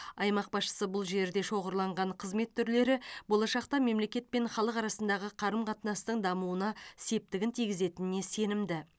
аймақ басшысы бұл жерде шоғырланған қызмет түрлері болашақта мемлекет пен халық арасындағы қарым қатынастың дамуына септігін тигізетініне сенімді